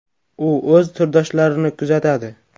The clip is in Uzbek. U o‘z turdoshlarini kuzatadi.